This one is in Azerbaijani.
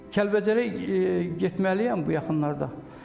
Kəlbəcərə getməliyəm bu yaxınlarda.